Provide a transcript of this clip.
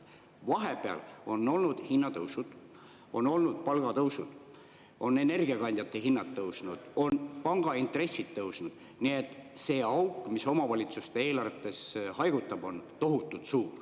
Vahepeal on olnud hinnatõusud, on olnud palgatõusud, energiakandjate hinnad on tõusnud, pangaintressid on tõusnud, nii et see auk, mis omavalitsuste eelarvetes haigutab, on tohutult suur.